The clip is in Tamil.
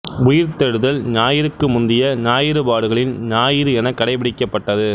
உயிர்த்தெழுதல் ஞாயிறுக்கு முந்திய ஞாயிறு பாடுகளின் ஞாயிறு எனக் கடைப்பிடிக்கப்பட்டது